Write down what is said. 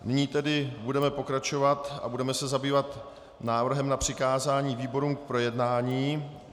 Nyní tedy budeme pokračovat a budeme se zabývat návrhem na přikázání výborům k projednání.